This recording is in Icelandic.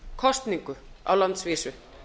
kosningu á landsvísu